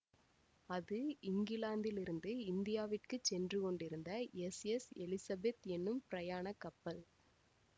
அது இங்கிலாந்திலிருந்து இந்தியாவுக்குச் சென்று கொண்டிருந்த எஸ்எஸ் எலிஸெபத் என்னும் பிரயாணக் கப்பல்